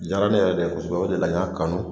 Diyara ne yɛrɛ de ye kosɛbɛ o de la n y'a kanu